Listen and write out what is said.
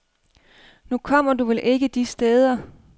Nu kommer du vel ikke de steder.